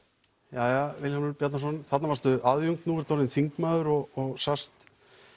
jæja Vilhjálmur Bjarnason þarna varstu aðjúnkt núna ertu orðinn þingmaður og sast